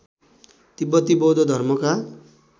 तिब्‍बती बौद्ध धर्मका